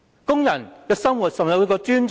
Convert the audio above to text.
工人的生活有否受到尊重？